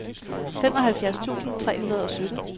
femoghalvfjerds tusind tre hundrede og sytten